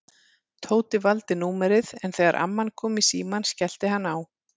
Tóti valdi númerið en þegar amman kom í símann skellti hann á.